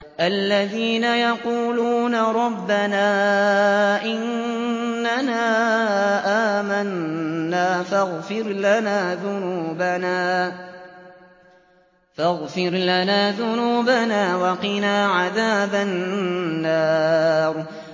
الَّذِينَ يَقُولُونَ رَبَّنَا إِنَّنَا آمَنَّا فَاغْفِرْ لَنَا ذُنُوبَنَا وَقِنَا عَذَابَ النَّارِ